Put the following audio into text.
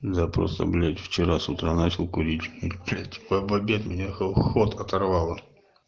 запросто блять вчера с утра начал курить блять в обед хол ход оторвало